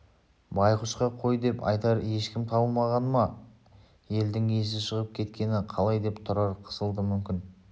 байғұсқа қой деп айтар ешкім табылмағаны ма елдің есі шығып кеткені қалай деп тұрар қысылды мүмкін